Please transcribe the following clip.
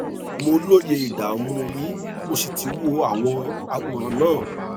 mo lóye ìdààmú yín mo sì ti wo àwọn àwòrán náà